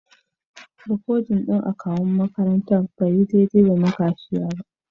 Rikodin akawu'n makarantan bai yi daidai da na kashiya ba.